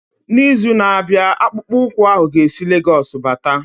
N'izu na-abịa akpụkpọ ụkwụ ahu ga esi Lagosu bata.